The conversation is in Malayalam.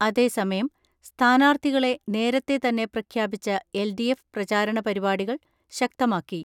അതേസമയം, സ്ഥാനാർത്ഥികളെ നേരത്തെ തന്നെ പ്രഖ്യാപിച്ച എൽ.ഡി.എഫ് പ്രചാരണ പരിപാടികൾ ശക്തമാക്കി.